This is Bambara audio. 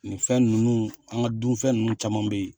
Ninfɛn ninnu , an ka dunfɛn ninnu caman bɛ yen.